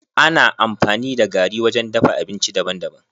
Ana amfani da gari wajen dafa abinci daban daban.